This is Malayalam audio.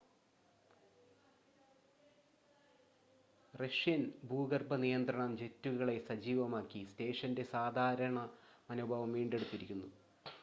റഷ്യൻ ഭൂഗർഭ നിയന്ത്രണം ജെറ്റുകളെ സജീവമാക്കി സ്റ്റേഷൻ്റെ സാധാരണ മനോഭാവം വീണ്ടെടുത്തിരുന്നു